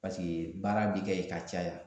Paseke baara bi kɛ yen ka caya